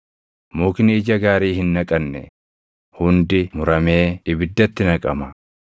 Mukni ija gaarii hin naqanne hundi muramee ibiddatti naqama.